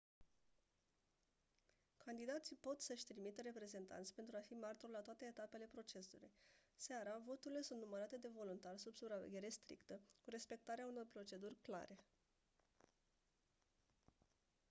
candidații pot să-și trimită reprezentanți pentru a fi martori la toate etapele procesului seara voturile sunt numărate de voluntari sub supraveghere strictă cu respectarea unor proceduri clare